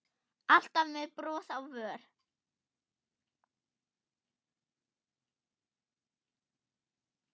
Alltaf með bros á vör.